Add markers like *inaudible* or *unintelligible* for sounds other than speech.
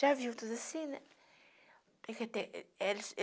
Já viu tudo assim, né? *unintelligible*